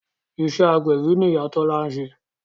Iṣẹ́ agbẹ̀bí ni Ìyá Tọ́lá ń ṣe